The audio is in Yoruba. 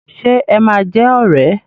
Ṣe ẹ máa jẹ́ ọ̀rẹ́?